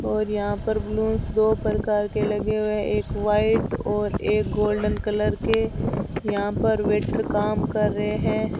और यहां पर बलूंस दो प्रकार के लगे हुए एक व्हाइट और एक गोल्डन कलर के यहां पर वेटर काम कर रहे है।